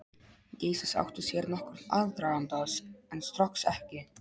Geysis áttu sér nokkurn aðdraganda, en Strokks ekki.